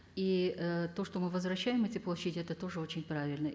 и ы то что мы возвращаем эти площади это тоже очень правильно